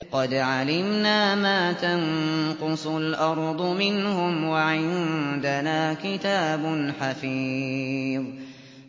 قَدْ عَلِمْنَا مَا تَنقُصُ الْأَرْضُ مِنْهُمْ ۖ وَعِندَنَا كِتَابٌ حَفِيظٌ